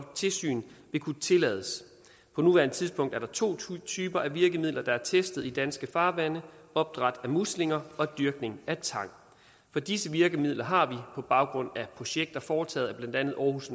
tilsyn vil kunne tillades på nuværende tidspunkt er der to typer af virkemidler der er testet i danske farvande opdræt af muslinger og dyrkning af tang for disse virkemidler har på baggrund af projekter foretaget af blandt andet aarhus